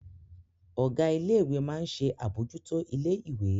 Ọ̀gá ilé ìwé máa ń ṣe àbójútó ilé ìwé